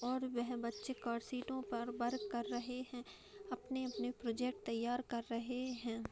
और वह बच्चे र्कसीटों पर वर्क कर रहे हैं अपने-अपने प्रोजेक्ट तैयार कर रहे हैं।